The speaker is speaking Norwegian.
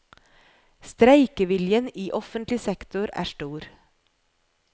Streikeviljen i offentlig sektor er stor.